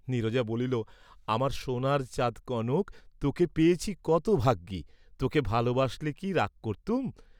নীরজা বলিল আমার সোনার চাঁদ কনক, তোকে পেয়েছি কত ভাগ্যি, তোকে ভালবাসলে কি রাগ করতুম?